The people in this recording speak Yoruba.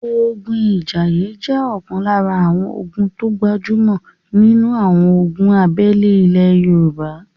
ogun Ìjàìyè jẹ́ ọ̀kan lára àwọn ogun tó gbajúmọ̀ nínu àwọn ogun abẹ́lé ilẹ Yorùbá